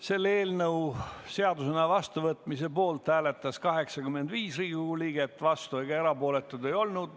Selle eelnõu seadusena vastuvõtmise poolt hääletas 85 Riigikogu liiget, vastuolijaid ega erapooletuid ei olnud.